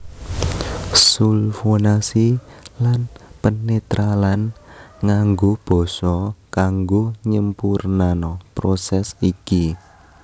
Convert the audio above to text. Sulfonasi lan penetralan nganggo basa kanggo nyempurnano prosès iki